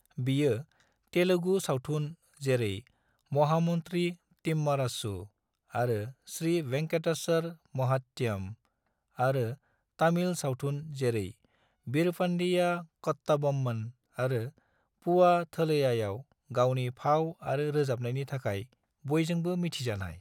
बियो तेलुगु सावथुन जेरै महामन्त्री तिम्मारासु आरो श्री वेंकटेश्वर महात्यम आरो तामिल सावथुन जेरै वीरपंडिया कट्टाबोम्मन आरो पूवा थलैयाआव गावनि फाव आरो रोजाबनायनि थाखाय बयजोंबो मिथिजानाय।